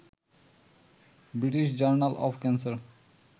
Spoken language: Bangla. British Journal of cancer